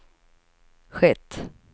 skett